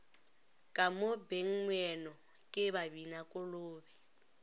ka mo bengmoeno ke babinakolobe